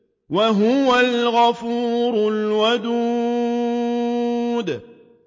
وَهُوَ الْغَفُورُ الْوَدُودُ